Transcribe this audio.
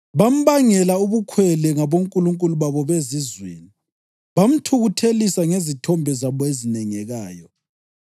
Bambangela ubukhwele ngabonkulunkulu babo bezizweni bamthukuthelisa ngezithombe zabo ezinengekayo.